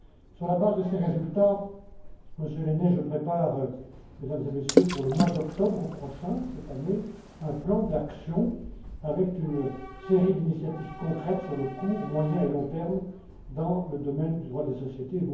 Sur la base de ces résultats, Monsieur Lehne, je prépare, Mesdames et Messieurs, pour le mois d'octobre prochain, cette année, un plan d'action, avec une série d'initiatives concrètes à court, moyen et long terme dans le domaine du droit des sociétés.